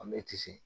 An bɛ ci